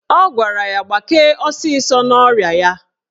Ọ gwara ya gbakee ọsịsọ n'ọrịa ya.